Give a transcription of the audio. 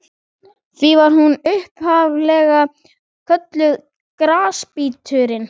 Því var hún upphaf-lega kölluð Grasbíturinn.